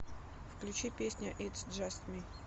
включи песня итс джаст ми